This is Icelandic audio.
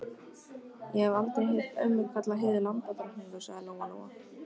Ég hef aldrei heyrt ömmu kalla Heiðu lambadrottningu, sagði Lóa Lóa.